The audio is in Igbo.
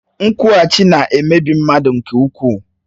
Nkwughachi na-emebi mmadụ nke ukwuu